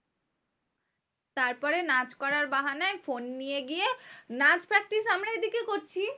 তারপরে নাচ করার বাহানায় ফোন নিয়ে গিয়ে, নাচ practice আমরা দিকে করছি